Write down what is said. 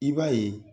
I b'a ye